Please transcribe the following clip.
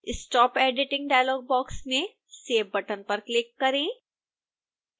stop editing dialog box में save button पर click करें